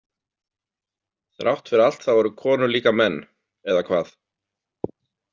Þrátt fyrir allt þá eru konur líka menn- eða hvað?